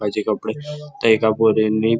माझे कपडे त्या एका पोरींनी--